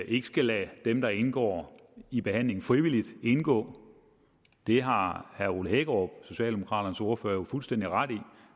ikke skal lade dem der indgår i behandling frivilligt indgå det har herre ole hækkerup socialdemokraternes ordfører jo fuldstændig ret i